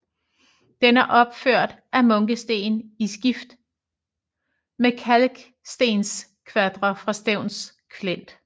Den er opført af munkesten i skift med kalkstenskvadre fra Stevns Klint